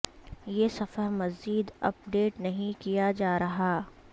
یہ صفحہ مزید اپ ڈیٹ نہیں کیا جا رہا